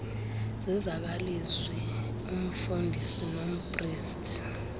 zezakwalizwi umfundisi nompriste